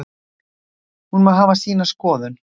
Hún má hafa sína skoðun